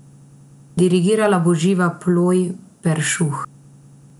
Dirigirala bo Živa Ploj Peršuh.